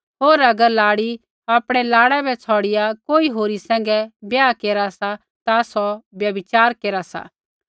होर अगर लाड़ी आपणै लाड़ै बै छ़ौड़िआ कोई होरी सैंघै ब्याह केरा सा ता सौ व्यभिचार केरा सा